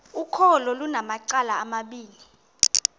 ukholo lunamacala amabini